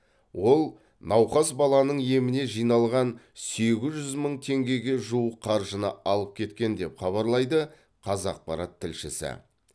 ол науқас баланың еміне жиналған сегіз жүз мың теңгеге жуық қаржыны алып кеткен деп хабарлайды қазақпарат тілшісі